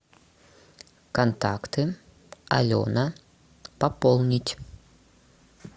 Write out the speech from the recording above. контакты алена пополнить